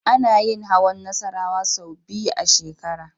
Ana yin hawan Nassarawa sau biyu a shekara.